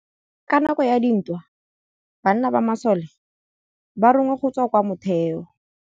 Ka nakô ya dintwa banna ba masole ba rongwa go tswa kwa mothêô.